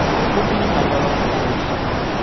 Ngũkũ ĩna goro thĩkũ ici.